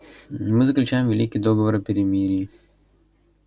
мы заключаем великий договор о перемирии